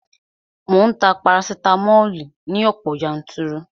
Mò ń ta parasitamoli ní ọ̀pọ̀ yanturu